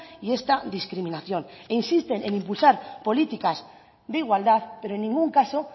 y esta discriminación e insisten en impulsar políticas de igualdad pero en ningún caso